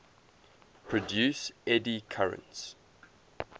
produce eddy currents